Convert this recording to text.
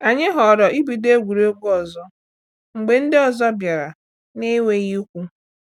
Anyị ghọrọ ibido egwuregwu ọzọ mgbe ndị ọzọ bịara na-enweghị ikwu.